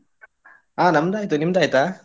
ಹ ನಮ್ಮದಾಯ್ತ್, ನಿಮ್ದಾಯ್ತಾ?